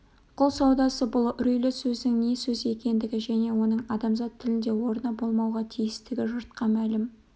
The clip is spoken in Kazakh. құл саудасы бұл үрейлі сөздің не сөз екендігі және оның адамзат тілінде орны болмауға тиістігі жұртқа мәлім